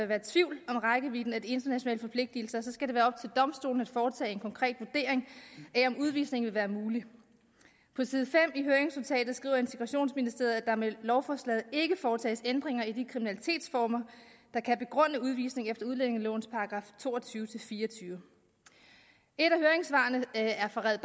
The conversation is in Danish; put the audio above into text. være tvivl om rækkevidden af de internationale forpligtelser skal det være op til domstolene at foretage en konkret vurdering af om udvisning vil være mulig på side fem i høringsnotatet skriver integrationsministeriet at der med lovforslaget ikke foretages ændringer i de kriminalitetsformer der kan begrunde udvisning efter udlændingelovens § to og tyve til fire og tyve et af høringssvarene er fra red